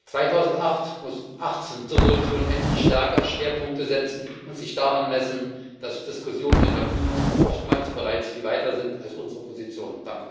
2018 muss unsere Entschließung endlich stärker Schwerpunkte setzen und sich daran messen, dass Diskussionen in der UNO oftmals bereits viel weiter sind als unsere Positionen.